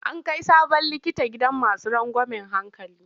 An kai sabon likita gidan masu rangwamen hankali.